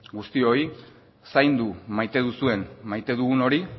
guztioi zaindu maite duzuen maite dugun hori